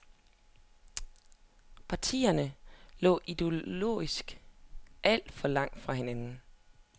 Partierne lå ideologisk alt for langt fra hinanden.